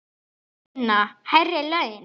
Sunna: Hærri laun?